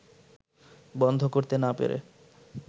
বন্ধ করতে না পেরে